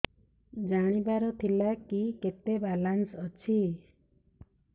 ଜାଣିବାର ଥିଲା କି କେତେ ବାଲାନ୍ସ ଅଛି